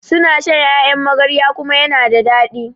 suna shan Ƴaƴan magarya kuma yana da dadi